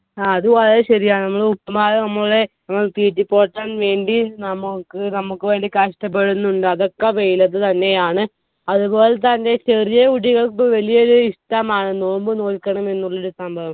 ആ അത് വളരെ ശെരിയാണ്. ഇങ്ങളെ ഉപ്പമാരേം നമ്മളെ ഒന്ന് തെറ്റിപ്പോറ്റാൻ വേണ്ടി നമുക്ക് നമ്മുക്ക് വേണ്ടി കഷ്ടപ്പെടുന്നുണ്ട് അതൊക്ക വെയിലത്തു തന്നെയാണ് അതുപോലെതന്നെ ചെറിയ കുട്ടികൾക്ക് വെല്യ ഇഷ്ടമാണ് നോമ്പ് നോൽക്കണമെന്നുള്ള സംഭവം